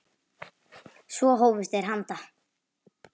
Svo hófust þeir handa.